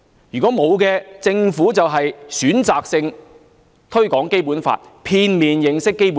如果沒有，政府就是選擇性推廣《基本法》，令市民片面認識《基本法》。